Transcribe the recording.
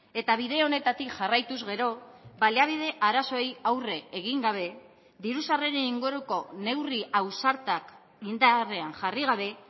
eta bide honetatik jarraituz gero baliabide arazoei aurre egin gabe diru sarreren inguruko neurri ausartak indarrean jarri gabe